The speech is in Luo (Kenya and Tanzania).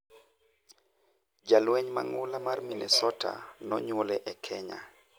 Jalweny mang'ula mar Minnesota ''nonywole e Kenya''